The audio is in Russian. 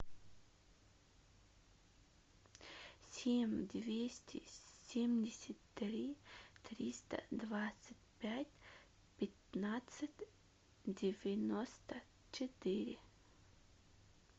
семь двести семьдесят три триста двадцать пять пятнадцать девяносто четыре